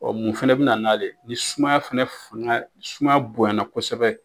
Ɔ mun fana bɛ na n'ale ye ni sumaya fɛnɛ fanga ni sumaya bonyana kosɛbɛ